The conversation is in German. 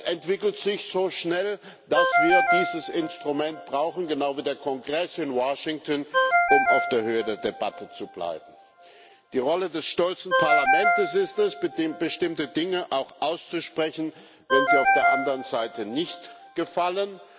Es entwickelt sich so schnell, dass wir dieses Instrument brauchen genau wie der Kongress in Washington um auf der Höhe der Debatte zu bleiben. Die Rolle des stolzen Parlaments ist es, bestimmte Dinge auch auszusprechen, wenn sie auf der anderen Seite nicht gefallen.